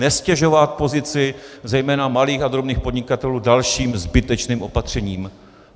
Neztěžovat pozici zejména malých a drobných podnikatelů dalším zbytečným opatřením.